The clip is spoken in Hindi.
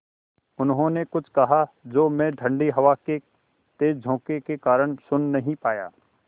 उन्होंने कुछ कहा जो मैं ठण्डी हवा के तेज़ झोंके के कारण सुन नहीं पाया